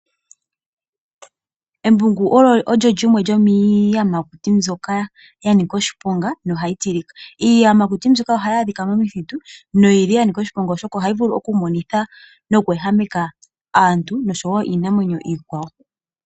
Embungu olyo lyimwe lyomiiyamakuti mbyoka ya nika oshiponga naha yi tilika. Iiyamakuti mbyoka oha yi adhika momithitu, noyi li ya nika oshiponga oshoka ohayi vulu okumonitha nokweehameka aantu nosho woo iinamwenyo iikwawo.